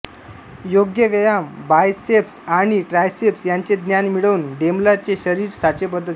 योग्य व्यायाम बायसेप्स आणि ट्रायसेप्स यांचे ज्ञान मिळवून डेंबला चे शरीर साचेबद्ध झाले